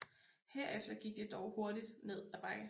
Herefter gik det dog hurtigt ned ad bakke